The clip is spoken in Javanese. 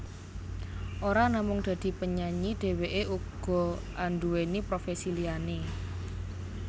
Ora namung dadi penyanyi dheweké uga anduweni profesi liyané